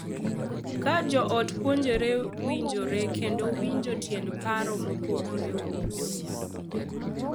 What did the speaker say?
Ka jo ot puonjore winjore kendo winjo tiend paro mopogore opogore,